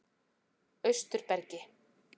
Austurbergi